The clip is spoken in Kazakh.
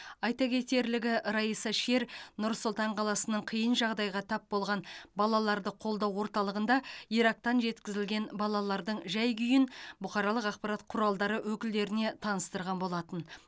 айта кетерлігі райса шер нұр сұлтан қаласының қиын жағдайға тап болған балаларды қолдау орталығында ирактан жеткізілген балалардың жай күйін бұқаралық ақпарат құралдары өкілдеріне таныстырған болатын